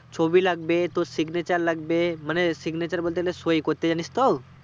ছবি লাগবে তোর signature লাগবে মানে signature বলতে গেলে সৈই করতে জানিস তো?